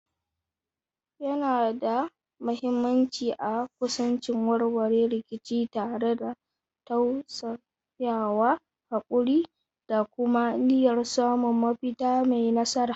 Yana da mahimmanci a kusanci warware rikici tare da tausayawa, haƙuri, da kuma niyyar samun mafita mai nasara.